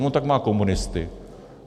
No tak má komunisty.